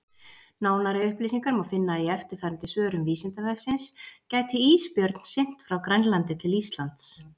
Nánari upplýsingar má finna í eftirfarandi svörum Vísindavefsins: Gæti ísbjörn synt frá Grænlandi til Íslands?